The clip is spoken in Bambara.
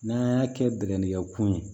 N'an y'a kɛ bɛkɛ kun ye